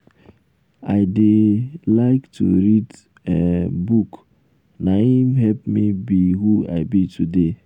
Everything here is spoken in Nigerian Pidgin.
i dey um like to read um book. na im um help me be who i be today.